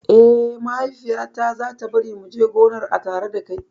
Eh, Mahaifiya ta za ta bari mu je gonar a tare dakai